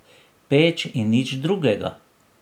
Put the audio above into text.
Peč in nič drugega.